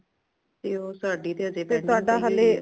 ਤੇ ਓ ਸਾੜੀ ਤੇ ਹਜੇ pending ਪਈ ਹੂਈ ਹੈ